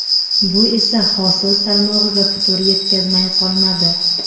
Bu esa hosil salmog‘iga putur yetkazmay qolmadi.